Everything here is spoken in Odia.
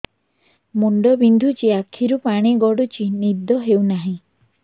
ମୁଣ୍ଡ ବିନ୍ଧୁଛି ଆଖିରୁ ପାଣି ଗଡୁଛି ନିଦ ହେଉନାହିଁ